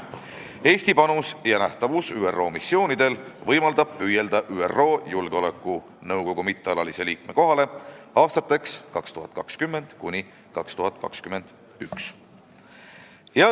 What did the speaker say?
Eesti panus ja nähtavus ÜRO missioonidel võimaldab meil püüelda ÜRO Julgeolekunõukogu mittealalise liikme kohale aastateks 2020 ja 2021.